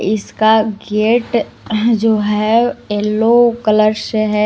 इसका गेट जो है येलो कलर से है।